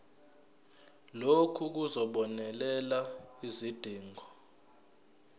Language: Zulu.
lokhu kuzobonelela izidingo